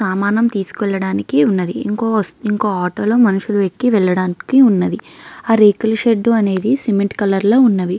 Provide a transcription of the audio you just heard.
సామాను తీసుకెళ్లడానికి ఉన్నదీ. ఇంకో ఆటో లో మనుషులు ఎక్కి వెళ్ళడానికి ఉన్నదీ. ఆ రేకుల షెడ్ అనేది సిమెంట్ రంగు లో ఉన్నదీ.